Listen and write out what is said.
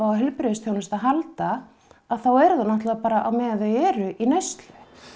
á heilbrigðisþjónustu að halda þá er það á meðan þau eru í neyslu